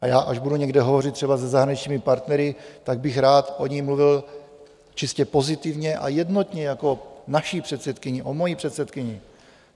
A já, až budu někde hovořit třeba se zahraničními partnery, tak bych rád o ní mluvil čistě pozitivně a jednotně jako o naší předsedkyni, o mojí předsedkyni.